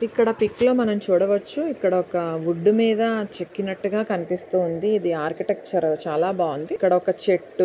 ఇక్కడ పిక్ లో మనం చూడవచ్చు వుడ్డు మీద చెక్కినట్టు కనిపిస్తుంది ఇది ఆర్కిటెక్చర్ చాలా బాగుంది ఇక్కడ ఒక చెట్టు --